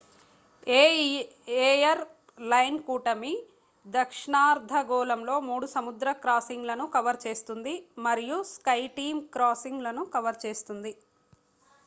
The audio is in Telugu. ఏ ఎయిర్ లైన్ కూటమి దక్షిణార్ధగోళంలో మూడు సముద్ర క్రాసింగ్ లను కవర్ చేస్తుంది మరియు స్కైటీమ్ క్రాసింగ్ లను కవర్ చేస్తుంది